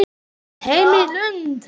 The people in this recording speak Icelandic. Heim í Lund.